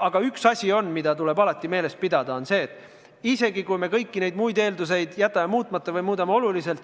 Aga üks asi, mida tuleb alati meeles pidada, on see, et isegi kui me kõik need muud eeldused jätame muutmata või siis muudame neid oluliselt,